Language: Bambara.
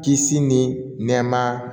Kisi ni nɛɛma